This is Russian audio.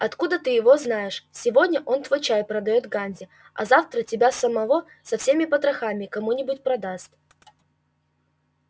откуда ты его знаешь сегодня он твой чай продаёт ганзе а завтра тебя самого со всеми потрохами кому-нибудь продаст